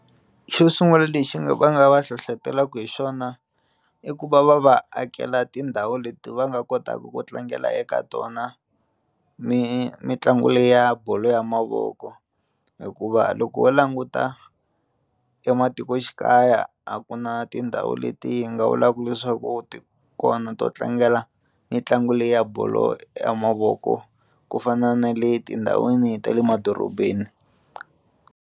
Xo sungula lexi nga va nga va hlohlotelaka hi xona i ku va va va akela tindhawu leti va nga kotaka ku tlangela eka tona mi mitlangu leya ya bolo ya mavoko hikuva loko ho languta ematikoxikaya a ku na tindhawu leti hi nga vulaka leswaku ti kona to tlangela mitlangu leyi ya bolo ya mavoko ku fana na le tindhawini ta le madorobeni.